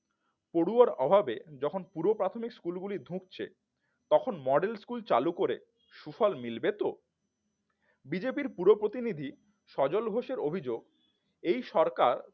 পড়ুয়ার অভাবে যখন পুরো প্রাথমিক স্কুলগুলো ধুকছে তখন model স্কুল চালু করে সুফল মিলবে তো বিজেপির পুরো প্রতিনিধি সজল ঘোষ এর অভিযোগ এই সরকার